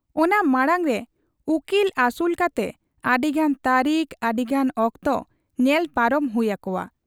ᱚᱱᱟ ᱢᱟᱬᱟᱝᱨᱮ ᱩᱠᱤᱞ ᱟᱹᱥᱩᱞ ᱠᱟᱛᱮ ᱟᱹᱰᱤᱜᱟᱱ ᱛᱟᱹᱨᱤᱠ, ᱟᱹᱰᱤᱜᱟᱱ ᱚᱠᱛᱚ ᱧᱮᱞ ᱯᱟᱨᱚᱢ ᱦᱩᱭ ᱟᱠᱚᱣᱟ ᱾